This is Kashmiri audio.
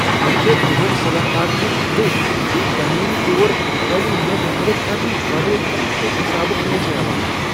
مےٚ چھ تمن صلاح كارن ہنز دٕے یم تعمیری طوربحٲلی منٛز مدد کرنہٕ ورٲیی گنٛٹہٕ حسابہٕ پونسہٕ ہیوان چھِ ۔